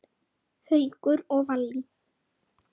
Haukur og Vallý.